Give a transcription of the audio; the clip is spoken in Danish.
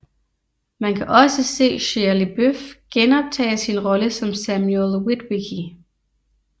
Man kan også se Shia LaBeouf genoptage sin rolle som Samuel Witwicky